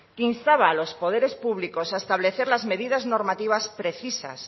que instaba a los poderes públicos a establecer las medidas normativas precisas